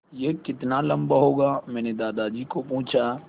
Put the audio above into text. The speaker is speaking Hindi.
यह कितना लम्बा होगा मैने दादाजी को पूछा